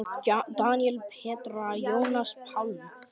Daníel, Petra, Jónas Pálmi.